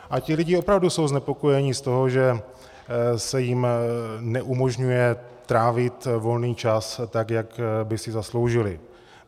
A ti lidé opravdu jsou znepokojeni z toho, že se jim neumožňuje trávit volný čas, tak jak by si zasloužili.